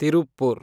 Tiruppur